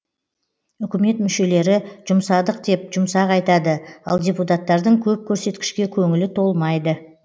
үкімет мүшелері жұмсадық деп жұмсақ айтады ал депутаттардың көп көрсеткішке көңілі толмайды